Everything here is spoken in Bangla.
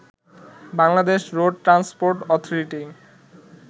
Bangladesh road transport authority